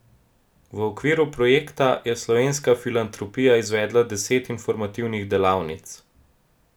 V okviru projekta je Slovenska filantropija izvedla deset informativnih delavnic.